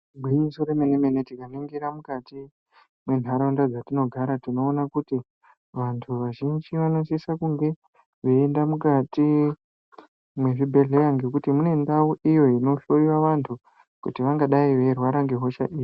Igwinyiso remene mene tikaningira mukati menharaunda dzatinogara tinoona kuti vantu vazhinji vanosisa kunge veienda mukati mezvibhedhlera ngekuti Mune ndau iyi inohloiwa vantu kuti vangadai veirwara nehosha iri.